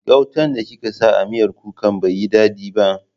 Gautan da kika sa a miyar kuka bai yi dadi ba.